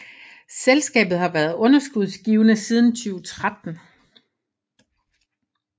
Selskabet har været underskudsgivende siden 2013